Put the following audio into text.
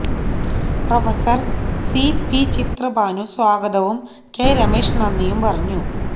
prof C P Chitrabhanu സ്വാഗതവും K Ramesh നന്ദിയും പറഞ്ഞു